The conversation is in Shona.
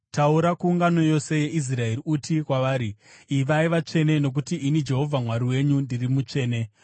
“Taura kuungano yose yeIsraeri uti kwavari, ‘Ivai vatsvene nokuti ini Jehovha Mwari wenyu ndiri mutsvene.